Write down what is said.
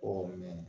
mɛ